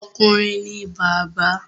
Okùnrin ni bàbá